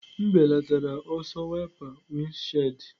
M belatara ọsọ wiper windshield.